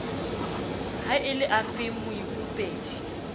ha e le afeng moikopedi